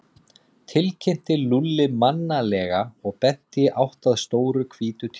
tilkynnti Lúlli mannalega og benti í átt að stóru hvítu tjaldi.